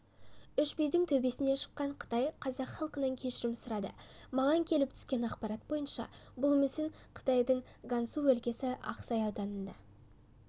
үш бидің төбесіне шыққан қытай қазақ халқынан кешірім сұрады маған келіп түскен ақпарат бойынша бұл мүсін қытайдың гансу өлкесі ақсай ауданында